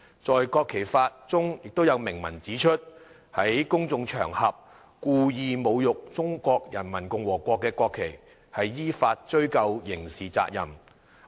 在《國旗法》中有明文指出："在公眾場合故意......侮辱中華人民共和國國旗的，依法追究刑事責任"。